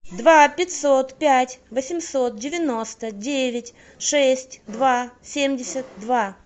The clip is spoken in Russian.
два пятьсот пять восемьсот девяносто девять шесть два семьдесят два